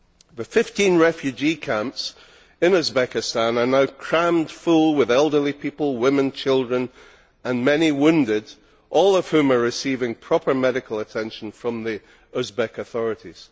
The 15 refugee camps in Uzbekistan are now crammed full with elderly people, women, children and many wounded, all of whom are receiving proper medical attention from the Uzbek authorities.